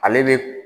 Ale bɛ